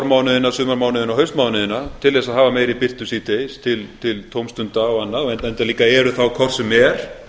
vormánuðina sumarmánuðina og haustmánuðina til þess að hafa meiri birtu síðdegis til tómstunda og annars enda líka eru þá hvort sem er